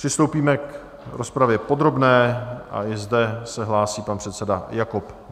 Přistoupíme k rozpravě podrobné a i zde se hlásí pan předseda Jakob.